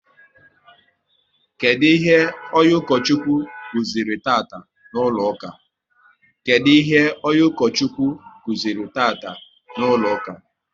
Kedụ ihe onye Ukochukwu kụziri taa n'ụlọ ụka?